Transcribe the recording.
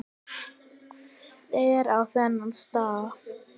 Hver á þennan staf?